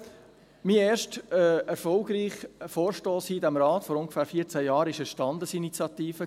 Jetzt: Mein erster erfolgreicher Vorstoss hier in diesem Rat vor ungefähr 14 Jahren war eine Standesinitiative.